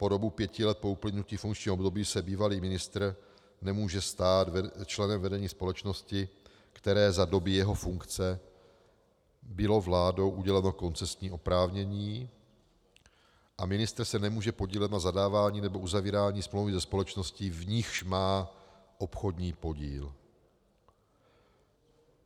Po dobu pěti let po uplynutí funkčního období se bývalý ministr nemůže stát členem vedení společnosti, které za doby jeho funkce bylo vládou uděleno koncesní oprávnění, a ministr se nemůže podílet na zadávání nebo uzavírání smlouvy se společností, v níž má obchodní podíl.